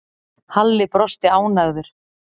Halli brosti ánægður.